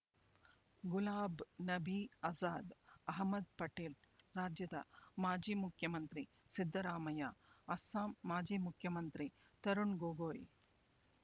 ಗುಲಾಬ್ ನಬೀ ಆಜಾದ್ ಅಹ್ಮದ್ ಪಟೇಲ್ ರಾಜ್ಯದ ಮಾಜಿ ಮುಖ್ಯಮಂತ್ರಿ ಸಿದ್ದರಾಮಯ್ಯ ಅಸ್ಸಾಂ ಮಾಜಿ ಮುಖ್ಯಮಂತ್ರಿ ತರುಣ್ ಗೊಗೊಯ್